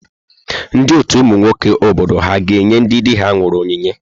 Ndị ọtù ụmụ nwoke obodo ha ga-enye ndị di ha nwụrụ onyinye?